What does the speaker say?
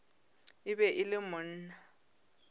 e be e le monna